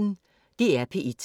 DR P1